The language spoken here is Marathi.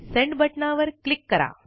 सेंड बटनावर क्लिक करा